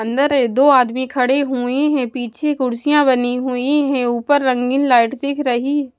अंदर दो आदमी खड़े हुए हैं पीछे कुर्सियाँ बनी हुई हैं ऊपर रंगीन लाइट दिख रही --